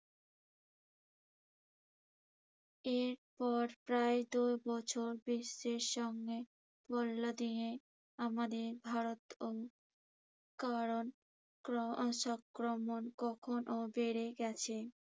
এরপর প্রায় দুবছর বিশ্বের সামনে দিয়ে আমাদের ভারত উম কারন করোনা সঙ্ক্রমণ কখনো বেড়ে গেছে।